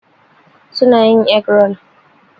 Su na yin egg rol.